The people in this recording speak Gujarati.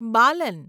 બાલન